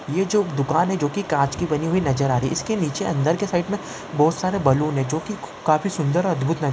ये जो दुकान है जोकि काँच की बनी नजर आ रही है इसके नीचे अंदर की साइक मे बहुत सारे बलून है जोकि काफी सुंदर है और अधभूत --